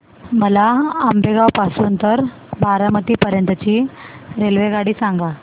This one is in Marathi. मला आंबेगाव पासून तर बारामती पर्यंत ची रेल्वेगाडी सांगा